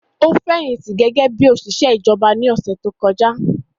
Ó fẹ̀yìntì gẹ́gẹ́ bí òṣìṣẹ́ ìjọba ní ọ̀sẹ̀ tó kọjá